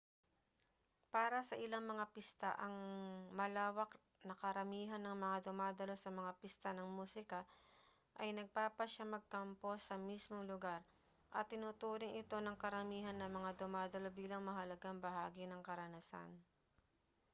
para sa ilang mga pista ang malawak na karamihan ng mga dumadalo sa mga pista ng musika ay nagpapasyang magkampo sa mismong lugar at itinuturing ito ng karamihan ng mga dumadalo bilang mahalagang bahagi ng karanasan